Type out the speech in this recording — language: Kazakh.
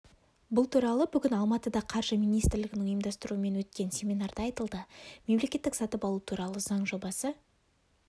бұл туралы бүгін алматыда қаржы министрлігінің ұйымдастыруымен өткен семинарда айтылды мемлекеттік сатып алу туралы заң жобасы